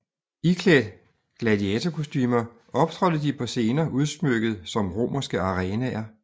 Iklædt gladiatorkostumer optrådte de på scener udsmykket som romerske arenaer